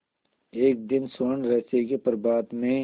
एक दिन स्वर्णरहस्य के प्रभात में